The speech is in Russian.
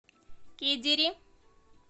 кедири